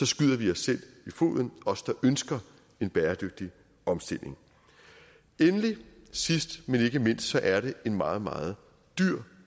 skyder vi os selv i foden os der ønsker en bæredygtig omstilling sidst men ikke mindst er det en meget meget dyr